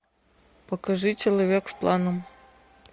покажи человек с планом